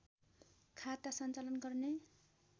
खाता सञ्चालन गर्ने